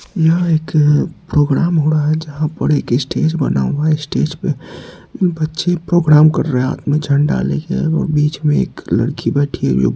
यह एक प्रोग्राम हो रहा है जहाँ पर एक स्टेज बना हुआ है स्टेज पे बच्चे प्रोग्राम कर रहें हैं हाथ में झंडा ले के एगो बीच में एक लड़की बैठी है |